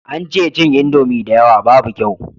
An ce cin indomi da yawa babu kyau